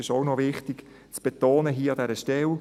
Das ist auch noch wichtig zu betonen hier an dieser Stelle.